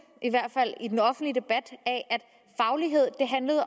i hvert fald i den offentlige debat